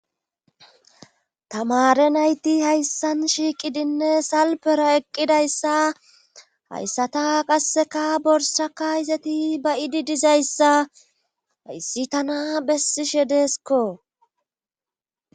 tamare nayti hayssan shiiqidinne salpera eqqidayssa hayssata qasseka borsaka izeti ba7idi dizayssa hayssi tana bessishe deeskko